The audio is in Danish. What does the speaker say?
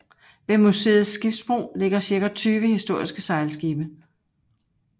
Ved museets skibsbro ligger cirka 20 historiske sejlskibe